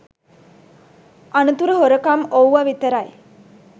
අනතුරු හොරකම් ඔව්ව විතරයි